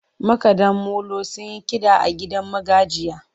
Makaɗa molo sun yi kiɗa a gidan magajiya.